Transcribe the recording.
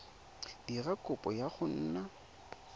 dira kopo ya go nna